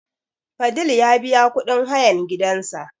Fadil ya biya kuɗin hayan gidan sa